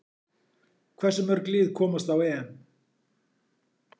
Hversu mörg lið komast á EM?